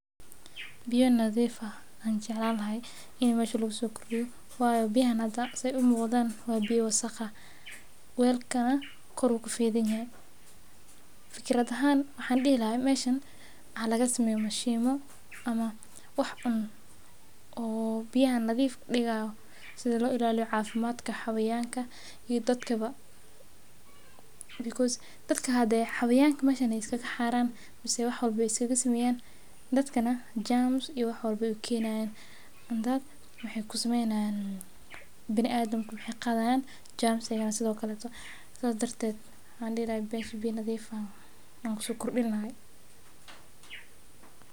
Buya nadiif ah ayaan jeclaan lahaa in meesha kaguso kordiyo weelka afka ayuu ka feedan yahay waxaan dihi lahaa waxa lagu soo kordin lahaa mishima xawayanka hadeey ku xaaran xanuun ayaa laga qaadaya biya nadiif ah ayaan kusoo kordin lahaa.